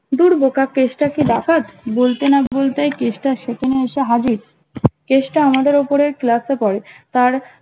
ধুর বোকা কেষ্টা কি ডাকাত বলতে না বলতেই কেষ্টা সেখানে এসে হাজির কেষ্টা আমাদের উপরের ক্লাস এ পরে তার